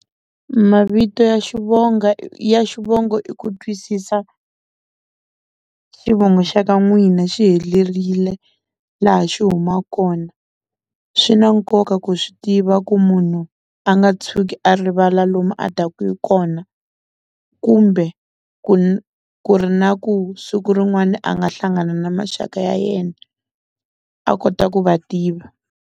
Mavito ya ya xivongo i ku twisisa xivongo xa ka n'wina xi helerile laha xi huma kona, swi na nkoka ku swi tiva ku munhu a nga tshuki a rivala lomu a taka hi kona, kumbe ku ri na ku siku rin'wani a nga hlangana na maxaka ya yena a kota ku va tiva.